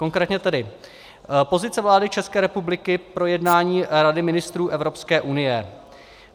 Konkrétně tedy: "Pozice vlády České republiky pro jednání Rady ministrů Evropské unie.